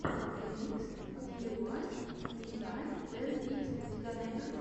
ремикс диуайбиай тэн икс у тебя найдется